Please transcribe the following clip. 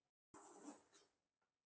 Barnið vaknaði í vagninum.